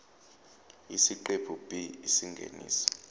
isiqephu b isingeniso